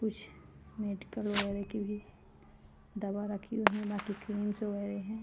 - कुछ मेडिकल वगेरा की भी दवा रखी हुई है वाकी क्रीम बगेरा ह--